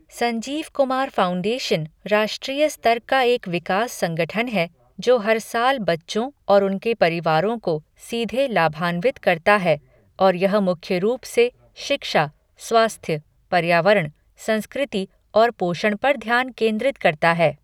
Sanjeev Kumar foundation राष्ट्रीय स्तर का एक विकास संगठन है, जो हर साल बच्चों और उनके परिवारों को सीधे लाभान्वित करता है, और यह मुख्य रूप से शिक्षा, स्वास्थ्य, पर्यावरण, संस्कृति और पोषण पर ध्यान केंद्रित करता है।